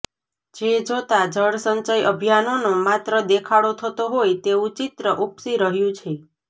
જે જોતાં જળસંચય અભિયાનનો માત્ર દેખાડો થતો હોય તેવંુ ચિત્ર ઉપસી રહ્યું છે